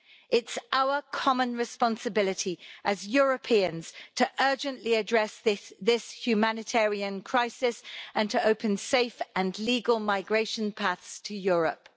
It's our common responsibility as Europeans to urgently address this humanitarian crisis and to open safe and legal migration paths to Europe.